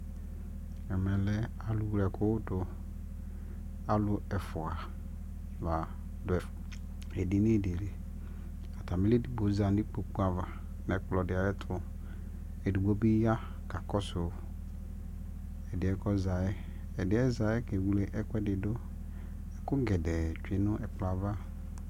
ɛmɛ lɛ alʋ wlɛ ɛkʋdʋ, alʋ ɛƒʋa ladʋ ɛdini dili, atamili ɛdigbɔ zanʋ ikpɔkʋ aɣa nʋ ɛkplɔ diayɛtʋ, ɛdigbɔ bi ya kakɔsʋ ɛdiɛ kʋ ɔzaɛ, ɛdiɛ zayɛ kɛwlɛ ɛkʋɛdi dʋ, ɛkʋ gɛdɛɛ twɛnʋ ɛkplɔɛ aɣa